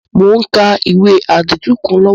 Mo n ka ìwé àdìtú kan lọ́wọ́